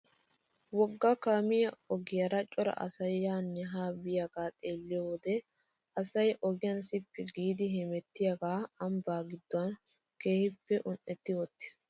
Wogga kaamiyaa ogiyaara cora asay yaanne haa biyaagaa xeelliyoo wode asay ogiyaa sippi giidi hemettiyaage ambbaa gidduwaa keehippe un"etti wottiis.